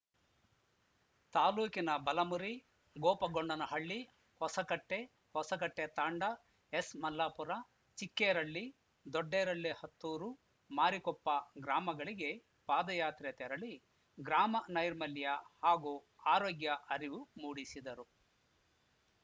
ತಾಲೂಕಿನ ಬಲಮುರಿ ಗೋಪಗೊಂಡನಹಳ್ಳಿ ಹೊಸಕಟ್ಟೆ ಹೊಸಕಟ್ಟೆತಾಂಡ ಎಸ್‌ಮಲ್ಲಾಪುರ ಚಿಕ್ಕೇರಳ್ಳಿ ದೊಡ್ಡೇರಳ್ಳಿ ಹತ್ತೂರುಮಾರಿಕೊಪ್ಪ ಗ್ರಾಮಗಳಿಗೆ ಪಾದಯಾತ್ರೆ ತೆರಳಿ ಗ್ರಾಮ ನೈರ್ಮಲ್ಯ ಹಾಗೂ ಆರೋಗ್ಯ ಅರಿವು ಮೂಡಿಸಿದರು